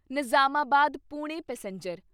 Nizamabad Pune passenger